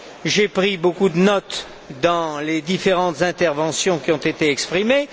J'ai pris beaucoup de notes dans les différentes interventions qui ont été exprimées.